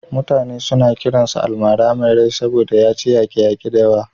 Mutane suna kiransa almara mai rai saboda ya ci yaƙe-yaƙe da yawa.